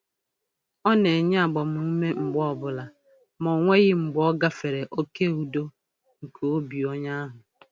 Ọ na-enye agbamume mgbe ọbụla ma o nweghị mgbe ọ gafere oke udo nke obi onye ahụ.